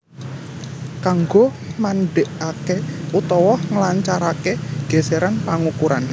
Kanggo mandekaké utawa nglancaraké gèsèran pangukuran